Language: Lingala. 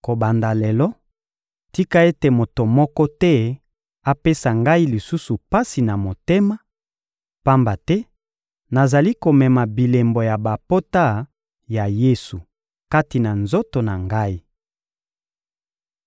Kobanda lelo, tika ete moto moko te apesa ngai lisusu pasi na motema, pamba te nazali komema bilembo ya bapota ya Yesu kati na nzoto na ngai.